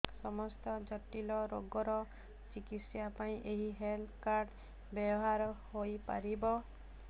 ସମସ୍ତ ଜଟିଳ ରୋଗର ଚିକିତ୍ସା ପାଇଁ ଏହି ହେଲ୍ଥ କାର୍ଡ ବ୍ୟବହାର ହୋଇପାରିବ